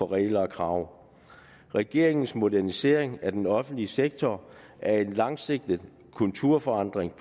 regler og krav regeringens modernisering af den offentlige sektor er en langsigtet kulturforandring